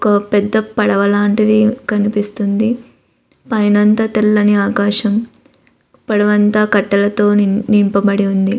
ఒక పెద్ద పడవ లాంటిది కనిపిస్తుంది పైన అంతా తెల్లని ఆకాశం పడవ అంతా కట్టెలతో నింపబడి ఉంది.